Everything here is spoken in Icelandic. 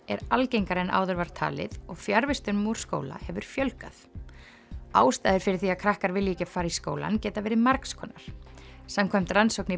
er algengari en áður var talið og fjarvistum úr skóla hefur fjölgað ástæður fyrir því að krakkar vilji ekki fara í skólann geta verið margs konar samkvæmt rannsókn í